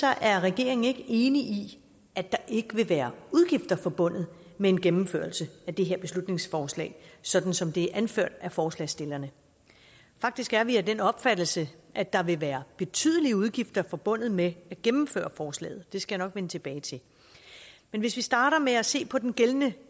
er regeringen ikke enig i at der ikke vil være udgifter forbundet med en gennemførelse af det her beslutningsforslag sådan som det er anført af forslagsstillerne faktisk er vi af den opfattelse at der vil være betydelige udgifter forbundet med at gennemføre forslaget det skal jeg nok vende tilbage til men hvis vi starter med at se på den gældende